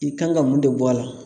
I kan ka mun de bɔ a la